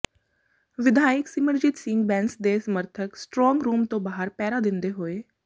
ਵਿਧਾਇਕ ਸਿਮਰਜੀਤ ਸਿੰਘ ਬੈਂਸ ਦੇ ਸਮਰਥਕ ਸਟਰੌਂਗ ਰੂਮ ਦੇ ਬਾਹਰ ਪਹਿਰਾ ਦਿੰਦੇ ਹੋਏ